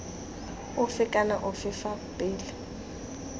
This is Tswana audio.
ofe kana ofe fa pele